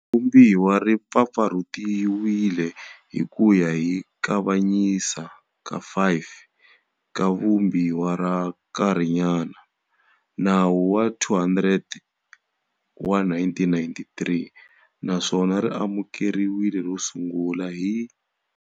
Vumbiwa ri mpfampfarhutiwe hi ku ya hi Kavanyisa ka 5 ka Vumbi wa ra nkarhinyana, Nawu wa 200 wa 1993, naswona ri amukeriwile ro sungula hi.